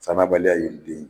Sannabaliya ye den